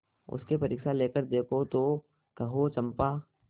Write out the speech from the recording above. उसकी परीक्षा लेकर देखो तो कहो चंपा